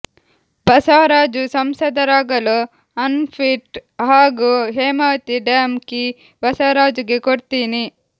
ಬಸವರಾಜು ಸಂಸದರಾಗಲು ಅನ್ಫಿಟ್ ಹಾಗೂ Hemavathi dam key ಬಸವರಾಜುಗೆ ಕೊಡ್ತೀನಿ